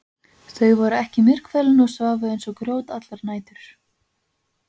Þau voru ekki myrkfælin og sváfu eins og grjót allar nætur.